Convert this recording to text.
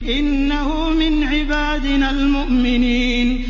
إِنَّهُ مِنْ عِبَادِنَا الْمُؤْمِنِينَ